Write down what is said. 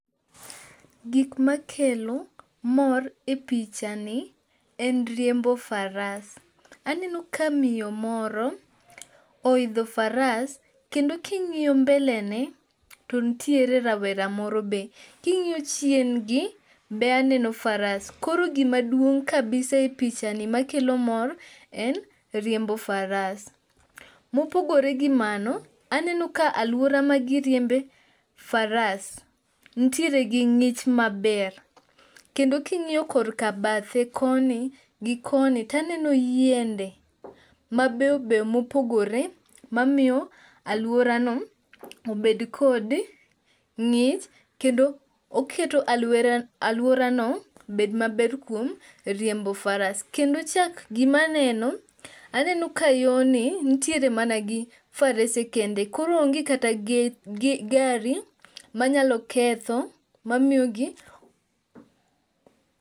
Gik makelo mor e pichani en riembo faras. Aneno ka miyo moro oidho faras kendo king'iyo mbelene to nitiere rawera moro be. King'iyo chiengi be aneno faras. Koro gima duong' kabisa e pichani makelo mor en riembo faras. Mopogore gi mano aneno ka aluora ma giriembe faras nitiere gi ng'ich maber. Kendo king'iyo kor ka bathe koni gi koni to aneno yiende mabeyo beyo mopogore mamiyo aluora no obed kod ng'ich kendo oketo aluora no bed maber kuom riembo faras. Kendo chak gimaneno aneno ka yo ni nitiere mana gi farese kende. Koro onge kata gari manyalo ketho mamiyo gi.